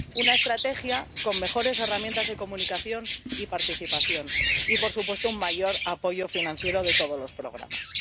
una estrategia con mejores herramientas de comunicación y participación y, por supuesto, un mayor apoyo financiero de todos los programas.